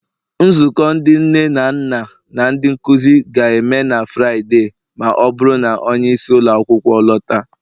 Nzukọ ndị nne na nna na ndị nkuzi ga-eme na Fraịde, ma ọ bụrụ na onye isi ụlọ akwụkwọ lọta